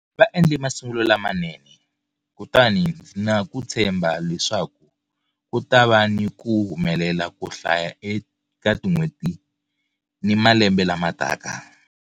Va endle masungulo lamanene, kutani ndzi ni ku tshemba leswaku ku ta va ni ku humelela ko hlaya eka tin'hweti ni malembe lamataka.